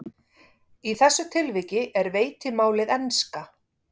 Í þessu tilviki er veitimálið enska.